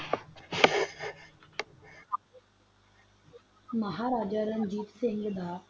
ਮਹਾਰਾਜਾ ਦਾ ਪਰ ਅਸਲੀ ਪੁਨ੍ਜਾਬਿਆ ਦਾ ਨਾਲ ਰਹੰਦਾ